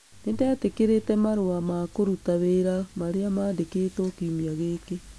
Nĩ ndetĩkĩrĩte marũa ma kũruta wĩra marĩa mandĩkĩtwo kiumia gĩkĩ